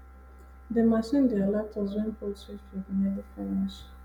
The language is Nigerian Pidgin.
the machine dey alert us wen poultry feed nearly finish